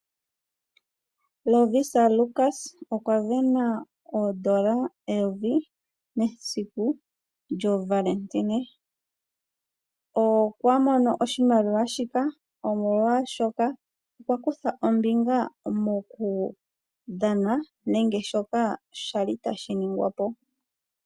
Lovisa Lukas okwa sindana oodola eyovi mesiku lyohole , okwa mono oshimaliwa shoka sho a kutha ombinga mokudhana nenge shoka kwali tashi ningwa po.